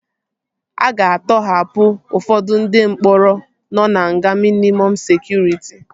A ga-atọhapụ ụfọdụ ndị mkpọrọ nọ na nga mịnịmọm sekụritị